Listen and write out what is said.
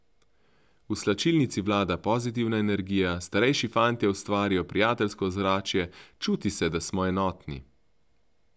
V slačilnici vlada pozitivna energija, starejši fantje ustvarijo prijateljsko ozračje, čuti se, da smo enotni.